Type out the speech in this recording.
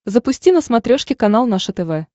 запусти на смотрешке канал наше тв